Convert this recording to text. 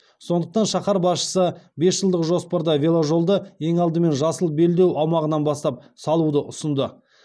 сондықтан шаһар басшысы бес жылдық жоспарда веложолды ең алдымен жасыл белдеу аумағынан бастап салуды ұсынды